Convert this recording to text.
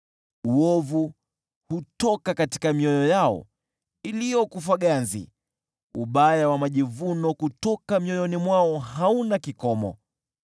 Uovu hutoka katika mioyo yao iliyokufa ganzi, majivuno maovu kutoka mioyoni mwao hauna kikomo.